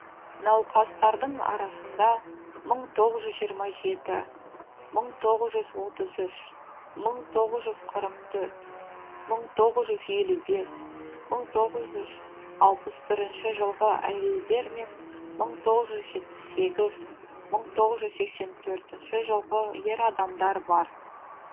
науқастардың арасында мың тоғыз жүз жиырма жеті мың тоғыз жүз отыз үш мың тоғыз жүз қырық төрт мың тоғыз жүз елу бес мың тоғыз жүз алпыс бірінші жылғы әйелдер мен мың тоғыз жүз жетпіс сегіз мың тоғыз жүз сексен төртінші жылғы ер адамдар бар